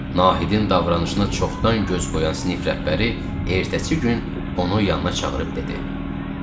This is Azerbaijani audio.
Nahidin davranışına çoxdan göz qoyan sinif rəhbəri ertəsi gün onu yanına çağırıb dedi: